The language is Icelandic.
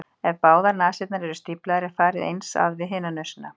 Ef báðar nasirnar eru stíflaðar er farið eins að við hina nösina.